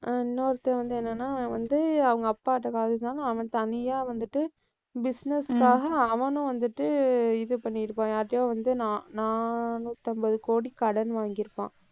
இன்னொருத்தன் வந்து என்னன்னா வந்து அவங்க அப்பாகிட்ட அவன் தனியா வந்துட்டு business காக அவனும் வந்துட்டு இது பண்ணி இருப்பான் யார்கிட்டயோ வந்து நா~ நானூத்தம்பது கோடி கடன் வாங்கியிருப்பான்.